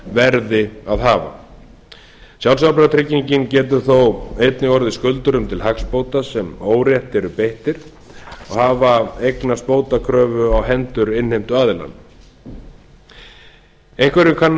verði að hafa sjálfsábyrgðartryggingin getur þó einnig orðið skuldurum til hagsbóta sem órétti eru beittir og hafa eignast bótakröfu á hendur innheimtuaðila einhverjum kann